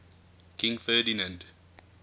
king ferdinand